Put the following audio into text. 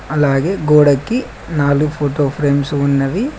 అలాగే గోడకి నాలుగు ఫోటో ఫ్రేమ్స్ ఉన్నవి.